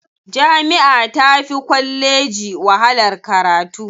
Jami'a tafi kwalleji wahalar karatu.